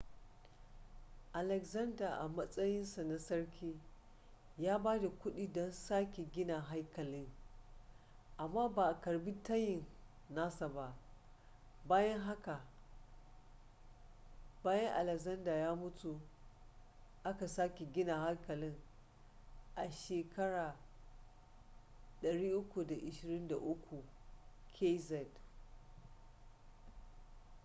alexander a matsayin sa na sarki ya ba da kuɗi don sake gina haikalin amma ba a karɓi tayin nasa ba bayan haka bayan alexander ya mutu aka sake gina haikalin a 323 kz